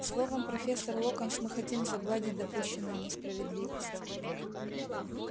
словом профессор локонс мы хотим загладить допущенную несправедливость